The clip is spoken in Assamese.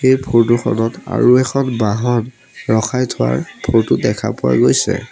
এই ফটো খনত আৰু এখন বাহন ৰখাই থোৱাৰ ফটো টোত দেখা পোৱা গৈছে।